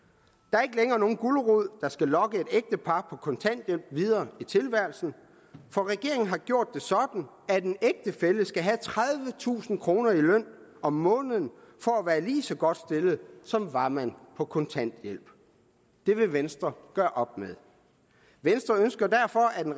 er ikke længere nogen gulerod der skal lokke et ægtepar på kontanthjælp videre i tilværelsen for regeringen har gjort det sådan at en ægtefælle skal have tredivetusind kroner i løn om måneden for at være lige så godt stillet som var man på kontanthjælp det vil venstre gøre op med venstre ønsker derfor at en